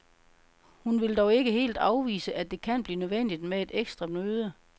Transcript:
Hun vil dog ikke helt afvise, at det kan blive nødvendigt med et ekstra møde.